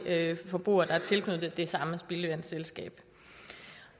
forbrugere der er tilknyttet det samme spildevandsselskab